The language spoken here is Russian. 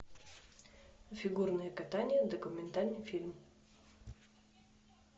фигурное катание документальный фильм